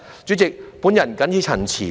主席，我謹此陳辭。